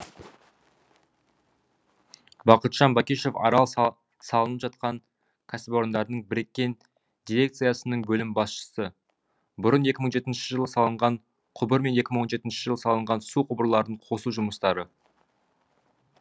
бақытжан бакишов арал салынып жатқан кәсіпорындардың біріккен дирекциясының бөлім басшысы бұрын екі мың жетінші жылы салынған құбыр мен екі мың он жетінші жылы салынған су құбырларын қосу жұмыстары